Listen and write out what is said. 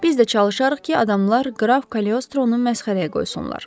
Biz də çalışarıq ki, adamlar Qraf Kaliostronu məsxərəyə qoysunlar.